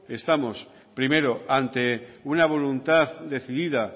estamos primero ante una voluntad decidida